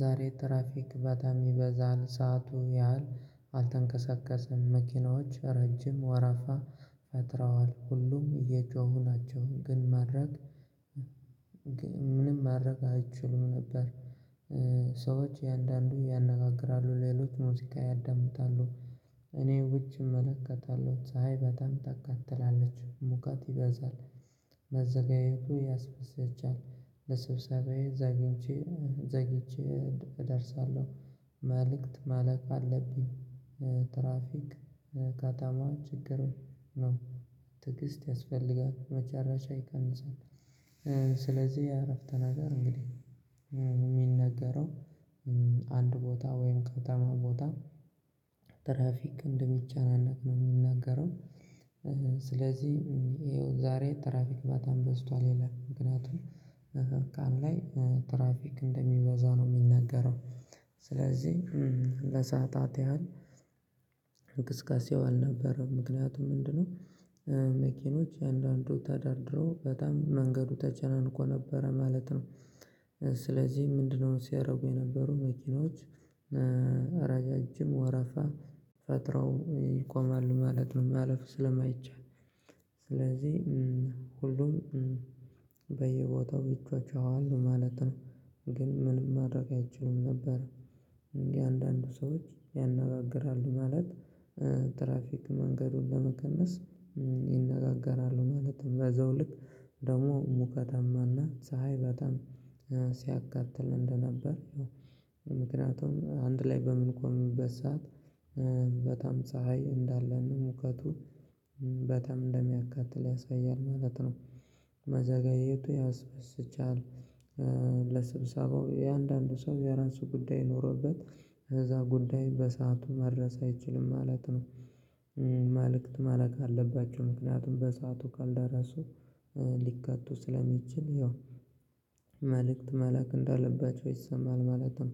ዛሬ ትራፊክ በጣም ይበዛል ሰዓቱ ያህል አልተንከሰከሰም መኪኖች ረጅም ወረፋ ፈጥረዋል ሁሉም እየጮሁ ናቸው። ግን ማድረግ ምንም ማድረግ አይችሉም ነበር። ሰዎች የአንዳንዱ ያነጋግራሉ ሌሎች ሙዚቃ ያዳምጣሉ። እኔ ውጪ እመለከታለሁ ፀሀይ በጣም ታካትላለች ሙከት ይበዛል። መዘጋጀቱ ያስፈስጃል ለስብሰባዬ ዘግቼ ዘግቼ እደርሳለሁ። መልእክት መላክ አለብኝ። ትራፊክ ከተማ ችግሩን ነው። ትዕግስት ያስፈልጋል መጨረሻ ይቀንሳል። ስለዚህ የእረፍት ነገር እንግዲህ የሚነገረው አንድ ቦታ ወይም ከተማ ቦታ ትራፊክ እንደሚጨናነቅ ነው የሚናገረው። ስለዚህ ይኸው ዛሬ ትራፊክ በጣም በዝቷል ይላል። ምክንያቱም መከካም ላይ ትራፊክ እንደሚበዛ ነው የሚነገረው። ስለዚህ ለሰአታት ያህል ዕንቅስቃሴው አልነበረም ምክንያቱም ምንድነው? መኪኖች አንዳንዱ ተደርድረው በጣም መንገዱ ተጨናንቆ ነበረ ማለት ነው። ስለዚህ ምንድነው ሲያደርጉ የነበሩ መኪኖች ረጃጅም ወረፋ ፈጥረው ይቆማሉ ማለት ነው። ማለፉ ስለማይቻል ስለዚህ ሁሉም በየቦታው ይቻቸዋል ማለት ነው። ግን ምንም ማድረግ አይችሉም ነበር። እንዲህ አንዳንድ ሰዎች ያነጋግራሉ ማለት። ትራፊክ መንገዱን ለመቀነስ ይነጋገራሉ ማለትም በዛው ልክ ደግሞ ሙቀታማና ፀሀይ በጣም ሲያቃጥል እንደነበር። ምክንያቱም አንድ ላይ በምንቆምበት ሰዓት በጣም ፀሀይ እንዳለን ነው ሙቀቱ በጣም እንደሚያቃጥል ያሳያል ማለት ነው። መዘጋየቱ ያስበስቻል ለስብሰባው እያንዳንዱ ሰው የራሱ ጉዳይ ኖሮበት ከዛ ጉዳይ በሰአቱ መድረስ አይችልም ማለት ነው። መልእክት መላክ አለባቸው ምክንያቱም በሰአቱ ካልደረሱ ሊከቱ ስለሚችል ይኸው መልእክት መላክ እንዳለባቸው ይሰማል ማለት ነው።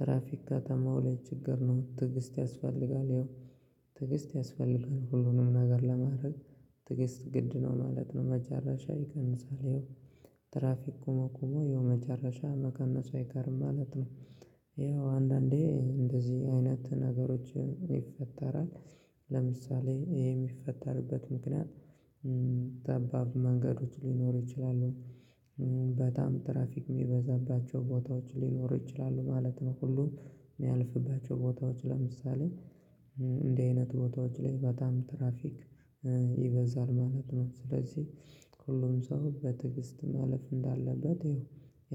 ትራፊክ ከተማው ላይ ችግር ነው ትዕግስት ያስፈልጋል ይኸው ትዕግስት ያስፈልጋል ሁሉንም ነገር ለማድረግ ትዕግስት ግድ ነው ማለት ነው። መጨረሻ ይቀንሳል ይኸው ትራፊክ ቁመቁመው ይኸው መጨረሻ መቀነሱ አይቀርም ማለት ነው። ይኸው አንዳንዴ እንደዚህ አይነት ነገሮች ይፈጠራል። ለምሳሌ ይሄ የሚፈጠርበት ምክንያት ጠባብ መንገዶች ሊኖሩ ይችላሉ። በጣም ትራፊክ የሚበዛባቸው ቦታዎች ሊኖሩ ይችላሉ ማለት ነው ሁሉም የሚያልፍባቸው ቦታዎች ለምሳሌ እንደዚህ አይነት ቦታዎች ላይ በጣም ትራፊክ ይበዛል ማለት ነው። ስለዚህ ሁሉም ሰው በትግስት ማለፍ እንዳለበት ይኸው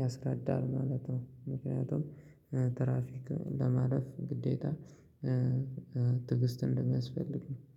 ያስረዳል ማለት ነው። ምክንያቱም ትራፊክ ለማለፍ ግዴታ ትዕግስት እንደሚያስፈልግ